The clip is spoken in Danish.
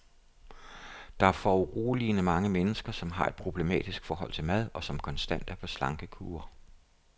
Der er foruroligende mange mennesker, som har et problematisk forhold til mad, og som konstant er på slankekur.